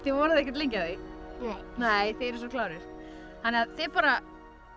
voruð ekkert lengi að því nei þið eruð svo klárir þannig að þið bara